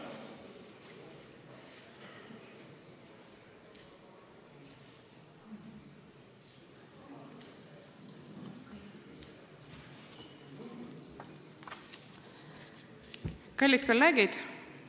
Kallid kolleegid!